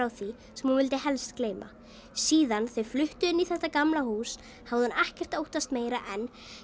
því sem hún vildi helst gleyma síðan þau fluttu inn í þetta gamla hús hafði hún ekkert óttast meira en